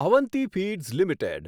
Avanti feeds limited